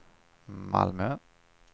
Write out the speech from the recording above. Malmö